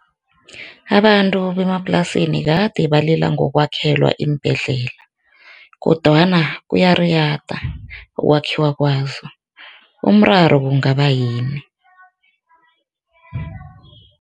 Abantu bemaplasini kade balila ngokwakhelwa iimbhedlela kodwana kuyariyada ukwakhiwa kwazo, umraro kungaba yini?